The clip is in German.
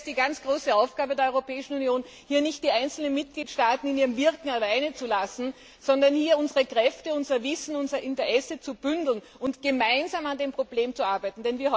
Ich sehe es als die große Aufgabe der Europäischen Union an, hier nicht die einzelnen Mitgliedstaaten in ihrem Wirken allein zu lassen, sondern unsere Kräfte, unser Wissen und unser Interesse zu bündeln und gemeinsam an dem Problem zu arbeiten.